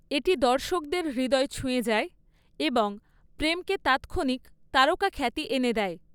এটি দর্শকদের হৃদয় ছুঁয়ে যায় এবং প্রেমকে তাৎক্ষণিক তারকাখ্যাতি এনে দেয়।